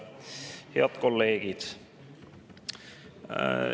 Head kolleegid!